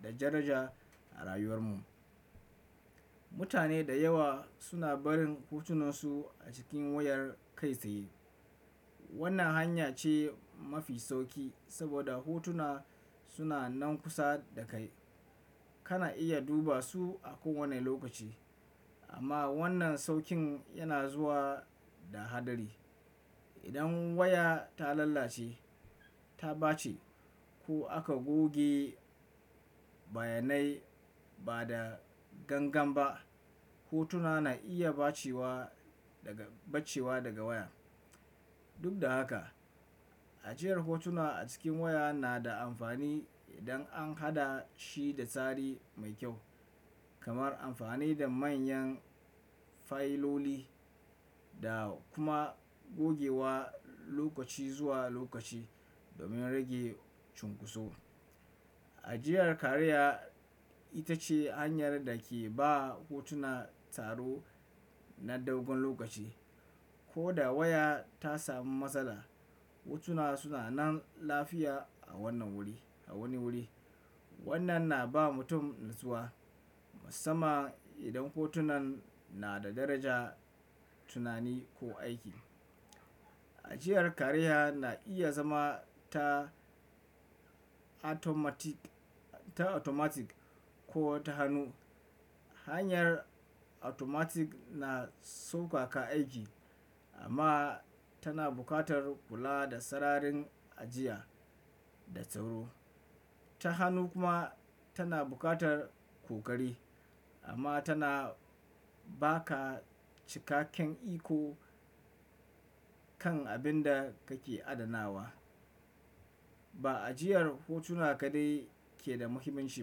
da daraja a rayuwar mu. Mutane da yawa suna barin hotunansu a cikin wayar kai tsaye. Wannan hanya ce mafi sauƙi saboda hotuna suna nan kusa da kai. Kana iya duba su a kowane lokaci. Amma wannan sauƙin yana zuwa da haɗari. Idan waya ta lalace, ta ɓace ko aka goge bayanai ba da gangan ba, hotuna na iya ɓacewa daga waya. Duk da haka, ajiyar hotuna a cikin waya na da amfani idan an haɗa shi da tsari mai kyau, kamar amfani da manyan fayiloli da kuma gogewa lokaci zuwa lokaci domin rage cunkoso. Ajiyar kariya ita ce hanyar da ke ba hotuna tsaro na dogon lokaci. Ko da waya ta sami matsala, hotuna suna nan lafiya a wani wuri. Wannan na ba mutum natsuwa, musamman idan hotunan na da darajar tunani ko aiki. Ajiyar kariya na iya zama ta automatic ko ta hannu. Hanyar automatic na saukaka aiki amma tana buƙatar kula da sararin ajiya da tsaro. Ta hannu kuma tana buƙatar ƙoƙari amma tana ba ka cikakken iko kan abin da kake adanawa. Ba ajiyar hotuna kaɗai ke da muhimmanci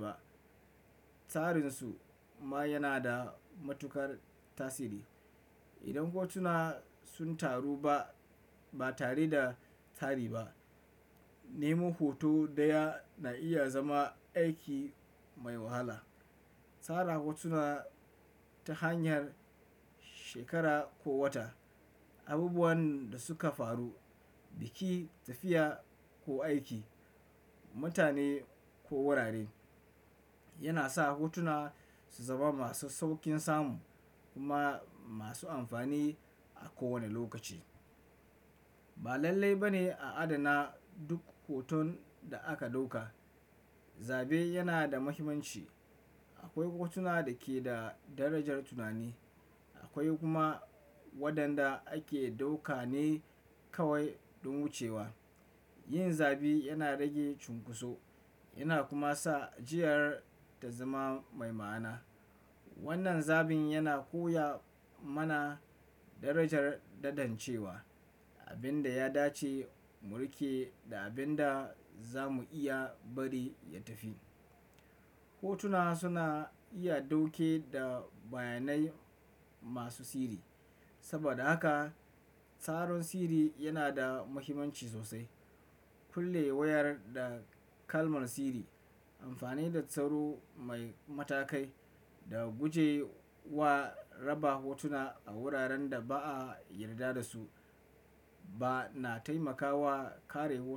ba, tsarin su ma yana da matuƙar tasiri. Idan hotuna sun taru ba tare da tsari ba, nemo hoto ɗaya na iya zama aiki mai wahala. Tsara hotuna ta hanyar shekara ko wata, abubuwan da suka faru, biki, tafiya ko aiki, mutane ko wurare, yana sa hotuna su zama masu sauƙin samu kuma masu amfani a kowane lokaci. Ba lalle ba ne a adana duk hoton da aka ɗauka. Zabe yana da muhimmanci. Akwai hotuna da ke da darajar tunani, akwai kuma waɗanda ake ɗauka ne kawai don wucewa. Yin zabi yana rage cunkoso yana kuma sa ajiyar ta zama mai ma'ana. Wannan zabin yana koya mana darajar tantancewa, abin da ya dace mu riƙe da abin da za mu iya bari ya tafi. Hotuna suna iya ɗauke da bayanai masu sirri. Saboda haka, tsaron sirri yana da muhimmanci sosai. Kulle wayar da kalmar sirri, amfani da tsaro mai matakai, da guje wa raba hotuna a wuraren da ba a yarda da su, bana taimakawa kare hotunan ka.